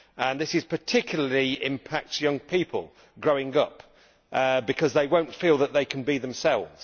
This particularly impacts young people growing up, because they will not feel that they can be themselves.